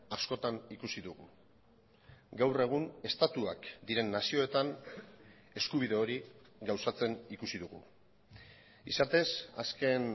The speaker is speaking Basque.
askotan ikusi dugu gaur egun estatuak diren nazioetan eskubide hori gauzatzen ikusi dugu izatez azken